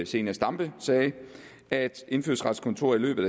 zenia stampe sagde at indfødsretskontoret i løbet